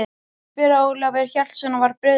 spurði Ólafur Hjaltason og var brugðið.